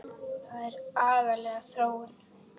Það er agaleg þróun.